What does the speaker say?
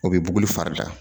O bɛ buguli fari da